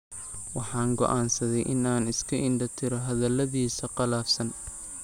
Waxaan go'aansaday in aan iska indho-tiro hadalladiisa qallafsan.